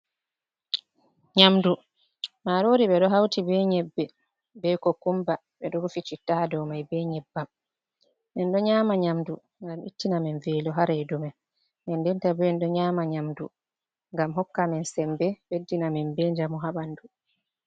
Nyamdu marori be ɗo hauti be nyebbe, be ko kumba, ɓe ɗo rufi citta ha dou mai be nyeɓɓam, men ɗo nyama nyamdu ngam ittina men velo ha redu men, den den ta bo en ɗo nyama nyamdu ngam hokka men sembe ɓeddina amin be njamu ha ɓanɗu